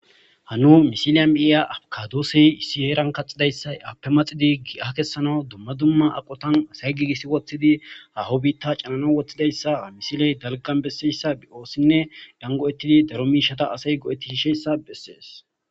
Hanu misiliyan miiya afkadoossey issi heeran kaxidayssa appe maxidi iha kessana dumma dumma aqotan asay giigissi woththidi haho biitta canana woththidayssa a misiley dalgan besseyssa bi'oossinne dango'ettidi daro miishata asay go'etti hisheyssa bessees.